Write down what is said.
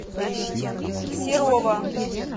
серова